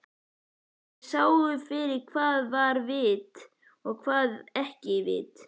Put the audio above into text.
Þeir sáu fyrir hvað var vit og hvað ekki vit.